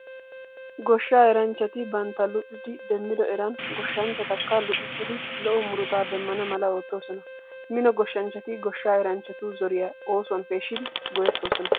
Goshshaa eranchchati bantta luxidi demmido eran goshshanchchatakka luxissidi lo'o murutaa demmana mala oottoosona. Mino goshshanchchati goshshaa eranchchatu zoriyaa oosuwan peeshshidi go'ettoosona.